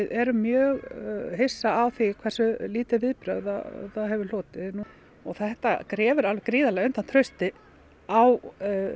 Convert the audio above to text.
erum mjög hissa á því hversu lítil viðbrögð það hefur hlotið þetta grefur alveg gríðarlega undan trausti á